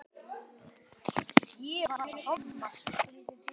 hváði ég.